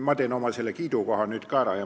Ma teen oma kiidulaulu nüüd ka ära.